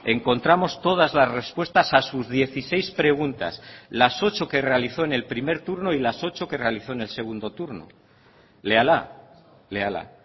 encontramos todas las respuestas a sus dieciséis preguntas las ocho que realizó en el primer turno y las ocho que realizó en el segundo turno léala léala